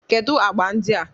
Kedu agba ndị a?